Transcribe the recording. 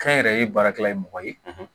Kɛnyɛrɛye baarakɛla ye mɔgɔ ye